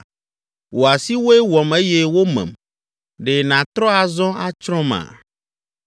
“ ‘Wò asiwoe wɔm eye womem. Ɖe nàtrɔ azɔ atsrɔ̃ma?